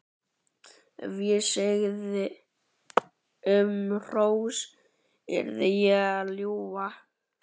Ef ég segði um þá hrós yrði ég að ljúga.